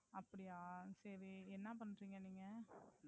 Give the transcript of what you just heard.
அப்படியா! சரி, என்ன பண்றீங்க நீங்க?